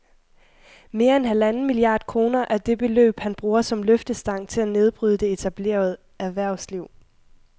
Mere end halvanden milliard kroner er det beløb, han bruger som løftestang til at nedbryde det etablerede erhvervsliv